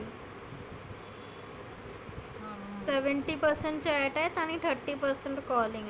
seventy percent chat आहे आणि thirty percent calling